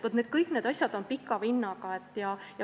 Vaat kõik need asjad on pika vinnaga.